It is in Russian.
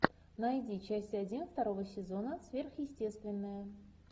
найди часть один второго сезона сверхъестественное